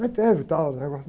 Mas teve tal, os negócios.